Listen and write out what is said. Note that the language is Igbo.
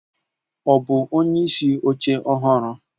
Ọ bụ onyeisi oche ọhụrụ?